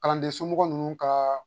Kalanden somɔgɔ ninnu kaa